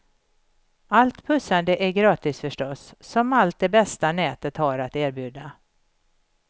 Allt pussande är gratis förstås, som allt det bästa nätet har att erbjuda.